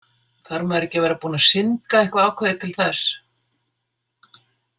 Þarf maður ekki að vera búinn að syndga eitthvað ákveðið til þess?